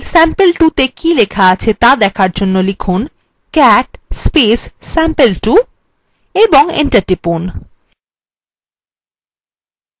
অন্য file sample2 ত়ে কী লেখা আছে ত়া দেখার জন্য লিখুন cat sample2 এবং enter টিপুন